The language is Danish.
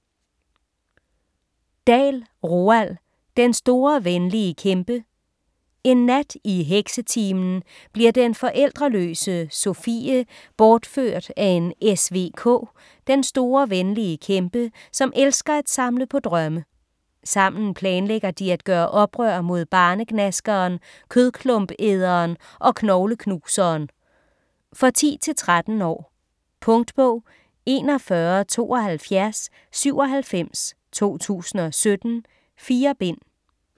Dahl, Roald: Den Store Venlige Kæmpe En nat i heksetimen bliver den forældreløse Sofie bortført af en SVK, den store venlige kæmpe , som elsker at samle på drømme. Sammen planlægger de at gøre oprør mod Barnegnaskeren, Kødklumpæderen og Knogleknuseren. For 10-13 år. Punktbog 417297 2017. 4 bind.